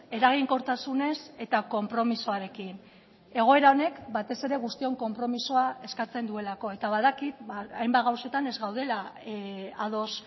eraginkortasunez eta konpromisoarekin egoera honek batez ere guztion konpromisoa eskatzen duelako eta badakit hainbat gauzetan ez gaudela ados